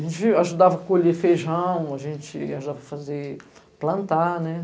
A gente ajudava a colher feijão, a gente ajudava a fazer plantar, né?